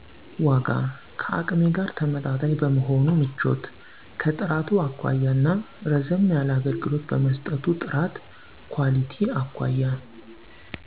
ዋጋ። ከአቅሜ ጋር ተመጣጣኝ ቀመሆኑ ምቾት። ከጥራቱ አኳያ እና ረዘም ያለ አገልግሎት በመሰጠቱ ጥራት። ኳሊቲ አኳያ